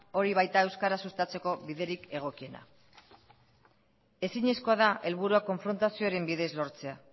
hori baita euskara sustatzeko biderik egokiena ezinezkoa da helburua konfrontazioaren bidez lortzea